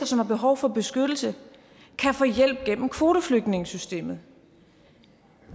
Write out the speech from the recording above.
som har behov for beskyttelse kan få hjælp gennem kvoteflygtningesystemet